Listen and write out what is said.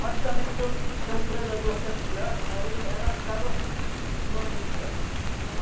Mas também tem um tem um predador que é a piranha, mas ele ela acaba com com a isca.